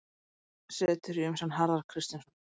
Vefsetur í umsjón Harðar Kristinssonar.